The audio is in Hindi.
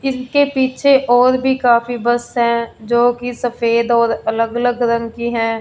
जिनके पीछे और भी काफी बस है जो कि सफेद और अलग-अलग रंग की हैं।